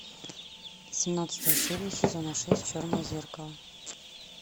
семнадцатая серия сезона шесть черное зеркало